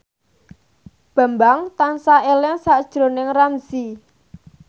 Bambang tansah eling sakjroning Ramzy